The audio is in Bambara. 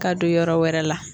Ka don yɔrɔ wɛrɛ la